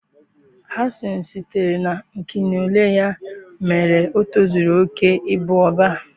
Hasan sitere na Akinole ya mere o tozuru oke ịbụ Ọbá